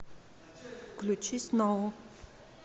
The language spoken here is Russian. включи сноу